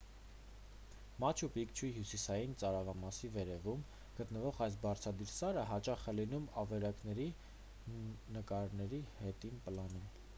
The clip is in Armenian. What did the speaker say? մաչու պիկչուի հյուսիսային ծայրամասի վերևում գտնվող այս բարձրադիր սարը հաճախ է լինում ավերակների նկարների հետին պլանում